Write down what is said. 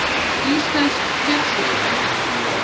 Íslensk kjötsúpa, endurbætt